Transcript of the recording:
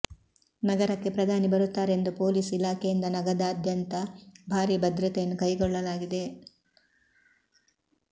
ನಗರಕ್ಕೆ ಪ್ರಧಾನಿ ಬರುತ್ತಾರೆ ಎಂದು ಪೋಲೀಸ್ ಇಲಾಖೆಯಿಂದ ನಗದಾದ್ಯಂತ ಭಾರೀ ಭದ್ರತೆಯನ್ನು ಕೈಗೊಳ್ಳಲಾಗಿದೆ